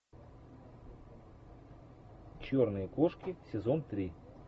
черные кошки сезон три